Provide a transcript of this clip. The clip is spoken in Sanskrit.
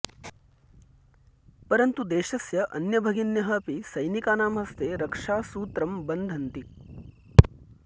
परन्तु देशस्य अन्यभगिन्यः अपि सैनिकानां हस्ते रक्षासूत्रं बध्नन्ति